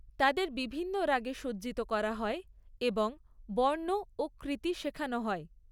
তাদের বিভিন্ন রাগে সজ্জিত করা হয় এবং বর্ণ ও কৃতি শেখানো হয়।